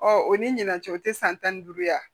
Ɔ o ni ɲinan cɛ o tɛ san tan ni duuru yan